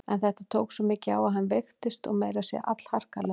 En þetta tók svo mikið á hann að hann veiktist og meira að segja allharkalega.